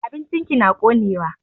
Abincin ki na konewa.